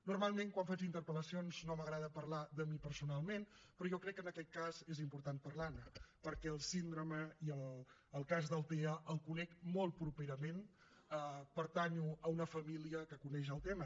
normalment quan faig interpel·lacions no m’agrada parlar de mi personalment però jo crec que en aquest cas és important parlar ne perquè la síndrome i el cas del tea els conec molt properament pertanyo a una família que coneix el tema